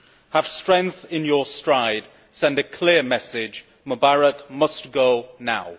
Have strength in your stride, send a clear message Mubarak must go now.